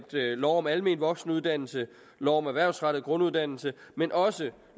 lov om almen voksenuddannelse og lov om erhvervsrettet grunduddannelse men også